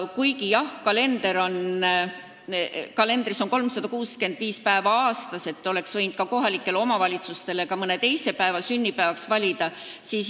Jah, kalendris on 365 päeva aastas ja oleks võinud kohalikele omavalitsustele ka mõne teise päeva sünnipäevaks valida.